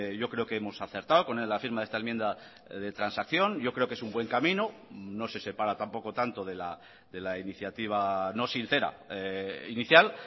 yo creo que hemos acertado con la firma de esta enmienda de transacción yo creo que es un buen camino no se separa tampoco tanto de la iniciativa no sincera inicial